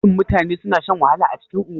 Shin mutane suna shan wahala a cikin unguwa?